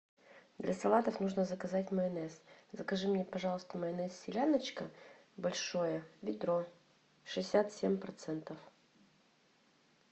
для салатов нужно заказать майонез закажи мне пожалуйста майонез селяночка большое ведро шестьдесят семь процентов